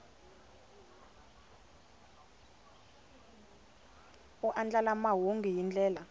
u andlala mahungu hi ndlela